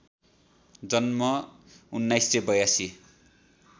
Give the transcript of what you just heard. जन्म १९८२